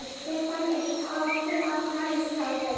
Stefnan er tekin á Grensásveg.